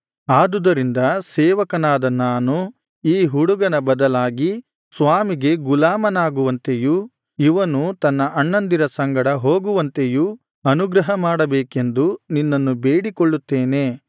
ಆದುದರಿಂದ ಸೇವಕನಾದ ನಾನು ಈ ಹುಡುಗನ ಬದಲಾಗಿ ಸ್ವಾಮಿಗೆ ಗುಲಾಮನಾಗುವಂತೆಯೂ ಇವನು ತನ್ನ ಅಣ್ಣಂದಿರ ಸಂಗಡ ಹೋಗುವಂತೆಯೂ ಅನುಗ್ರಹ ಮಾಡಬೇಕೆಂದು ನಿನ್ನನ್ನು ಬೇಡಿಕೊಳ್ಳುತ್ತೇನೆ